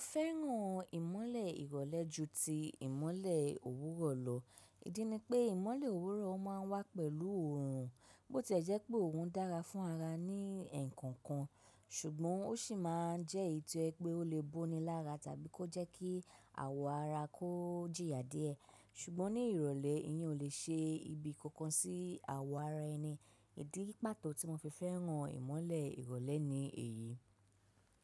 Fẹ́ràn ìmọ́lẹ̀ ìrọ̀lẹ́ ju ti ìmọ́lẹ̀ òwúrọ̀ lọ, ìdí ni pé ìmọ́lẹ̀ òwúrọ̀ má a ń wá pẹ̀lú òórùn, bó ti ẹ jẹ́ pé òórùn dára fún ara ní ẹ̀kọ̀ọ̀kan, ṣùgbọ́n ó sì má a ń jẹ́ èyí tí ẹ pé ó lè bóni lára tàbí kó jẹ́ kí àwọ̀ ara kó jìyà díẹ̀, ṣùgbọ́n ní ìrọ̀lẹ́ ìyẹn ò lè ṣe ibi kankan sí àwọ̀ ara ẹni, ìdí pàtó tí mo fi fẹ́ràn ìmọ́lẹ̀ ìrọ̀lẹ́ ni èyí.